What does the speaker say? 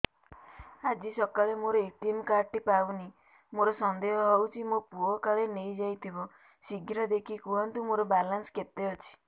ଆଜି ସକାଳେ ମୋର ଏ.ଟି.ଏମ୍ କାର୍ଡ ଟି ପାଉନି ମୋର ସନ୍ଦେହ ହଉଚି ମୋ ପୁଅ କାଳେ ନେଇଯାଇଥିବ ଶୀଘ୍ର ଦେଖି କୁହନ୍ତୁ ମୋର ବାଲାନ୍ସ କେତେ ଅଛି